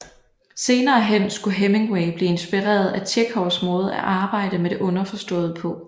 Senere hen skulle Hemingway blive inspireret af Tjekhovs måde at arbejde med det underforståede på